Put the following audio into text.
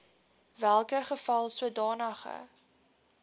welke geval sodanige